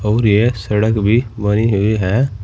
और यह सड़क भी बनी हुई है।